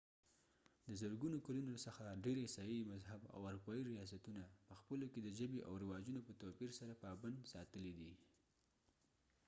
د زرګونو کلونو څخه ډير عیسايي مذهب اروپایي ریاستونه پخپلو کې د ژبې او رواجونو په توپیر سره پابند ساتلي دي